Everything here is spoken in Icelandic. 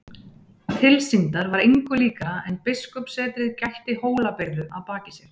Tilsýndar var engu líkara en biskupssetrið gætti Hólabyrðu að baki sér.